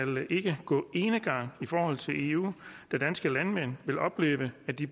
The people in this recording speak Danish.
ikke gå enegang i forhold til eu da danske landmænd vil opleve at de